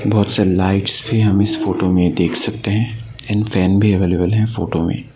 बहोत सारी लाइट्स भी हम इस फोटो में देख सकते हैं एंड फैन भी अवेलेबल है फोटो में।